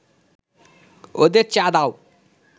ওদের চা দাও